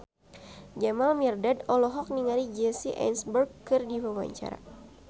Jamal Mirdad olohok ningali Jesse Eisenberg keur diwawancara